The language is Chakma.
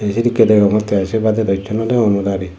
eh sedike degongte se badee do hisu no degong muilari.